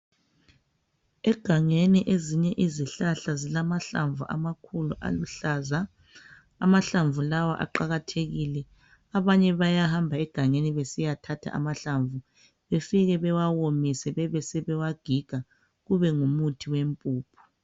Egangeni ezinye izihlahla zilamahlamvu amakhulu aluhlaza. Amahlamvu lawa aqakathekile. Abanye bayahamba egangeni besiyathatha amahlamvu befike bewawomise bebe sebewagiga kube ngumuthi wempuphu.